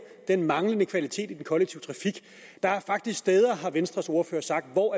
den manglende kvalitet i den kollektive trafik der er faktisk steder har venstres ordfører sagt hvor